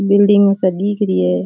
Building सा दीख री है।